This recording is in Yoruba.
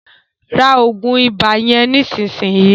rá oògùn ibà yén nísìsiyìí!